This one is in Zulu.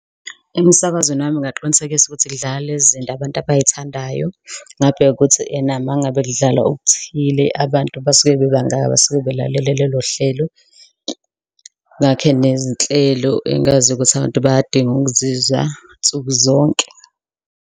Emisakazweni wami ngingaqinisekisa ukuthi kudlala lezi nto abantu abay'thandayo ngabe ukuthi ena mangabe kudlalwa okuthile. Abantu basuke bebangaka basuke belalele lolo hlelo ngakhe nezinhlelo engaziyo ukuthi abantu bayadinga ukuzizwa nsuku zonke.